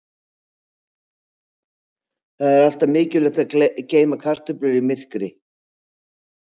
Það er því alltaf mikilvægt að geyma kartöflur í myrkri.